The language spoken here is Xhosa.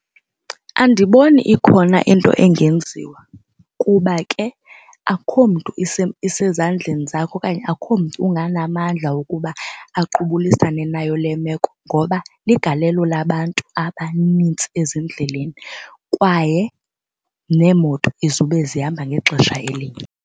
Andiboni ikhona into engenziwa kuba ke akho mntu isezandleni zakhe okanye akho mntu unganamandla wokuba aqubulisane nayo le meko ngoba ligalelo labantu abanintsi ezindleleni kwaye neemoto izube zihamba ngexesha elinye.